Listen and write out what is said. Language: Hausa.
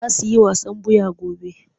Za su yi wasan ɓuya gobe.